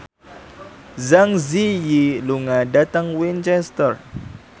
Zang Zi Yi lunga dhateng Winchester